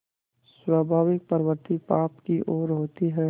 स्वाभाविक प्रवृत्ति पाप की ओर होती है